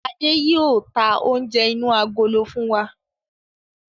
Adé yìí ó tà oúnjẹ inú agolo fún wa